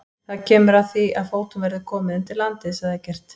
Það kemur að því að fótum verður komið undir landið, sagði Eggert.